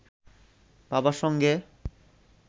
বাবার সঙ্গে